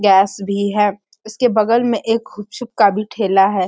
Gas भी है उसके बगल में एक खुप शुप का भी ठेला है।